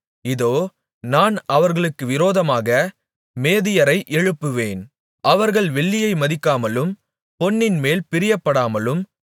இதோ நான் அவர்களுக்கு விரோதமாக மேதியரை எழுப்புவேன் அவர்கள் வெள்ளியை மதிக்காமலும் பொன்னின்மேல் பிரியப்படாமலும்